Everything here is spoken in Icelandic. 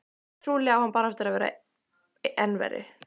Trúlega á hann bara eftir að verða enn verri.